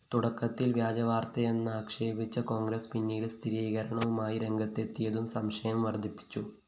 തുടക്കത്തില്‍ വ്യാജവാര്‍ത്തയെന്നാക്ഷേപിച്ച കോണ്‍ഗ്രസ് പിന്നീട് സ്ഥിരീകരണവുമായി രംഗത്തെത്തിയതും സംശയം വര്‍ദ്ധിപ്പിച്ചു